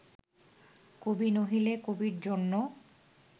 কবি নহিলে কবির জন্য